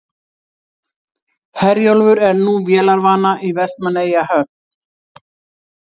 Herjólfur er nú vélarvana í Vestmannaeyjahöfn